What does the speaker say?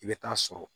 I bɛ taa sɔrɔ